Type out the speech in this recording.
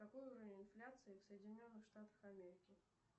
какой уровень инфляции в соединенных штатах америки